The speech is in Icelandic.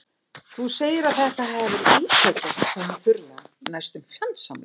Þú segir að þetta hafi verið íkveikja- sagði hann þurrlega, næstum fjandsamlega.